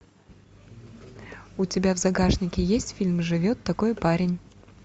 у тебя в загашнике есть фильм живет такой парень